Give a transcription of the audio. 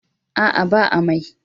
A'a ba amai.